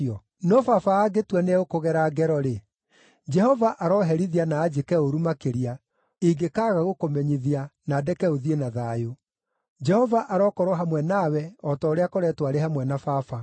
No baba angĩtua nĩ egũkũgera ngero-rĩ, Jehova aroherithia na anjĩke ũũru makĩria, ingĩkaaga gũkũmenyithia, na ndeke ũthiĩ na thayũ. Jehova arokorwo hamwe nawe o ta ũrĩa akoretwo arĩ hamwe na baba.